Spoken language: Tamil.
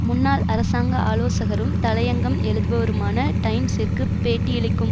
முன்னாள் அரசாங்க ஆலோசகரும் தலையங்கம் எழுதுபவருமான டைம்சிற்கு பேட்டியளிக்கும்